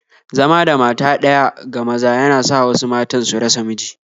Zama da mata ɗaya ga maza yana sa wasu matan su rasa miji